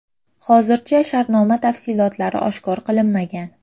Hozircha shartnoma tafsilotlari oshkor qilinmagan.